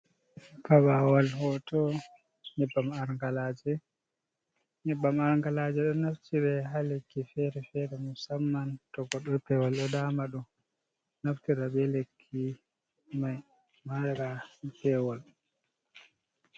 Fabawal hoto nebbam angalaje. Nyebbam angalaje ɗo naftire ha lekki fere-fere musamman to goɗɗo pewol ɗo dama ɗum. Naftira be lekki mai mara pewol.